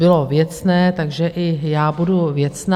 Bylo věcné, takže i já budu věcná.